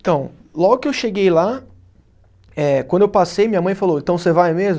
Então, logo que eu cheguei lá, eh quando eu passei, minha mãe falou, então você vai mesmo?